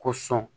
Ko sɔn